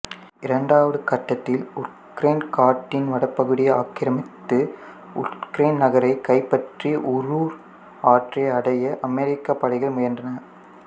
இரண்டாவது கட்டத்தில் ஊர்ட்கென் காட்டின் வடபகுதியை ஆக்கிரமித்து ஊர்ட்கென் நகரைக் கைப்பற்றி உரூர் ஆற்றை அடைய அமெரிக்கப் படைகள் முயன்றன